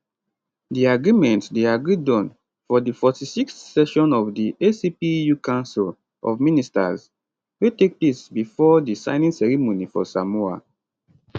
di agreement dey agreed on for di 46th session of di acpeu council of ministers wey take place bifor di signing ceremony for samoa